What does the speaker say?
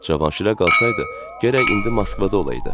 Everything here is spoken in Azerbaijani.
Cavanşirə qalsaydı, gərək indi Moskvada olaydı.